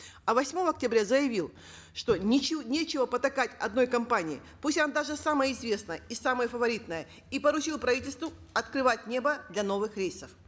а восьмого октября заявил что нечего потакать одной компании пусть она даже самая известная и самая фаворитная и поручил правительству открывать небо для новых рейсов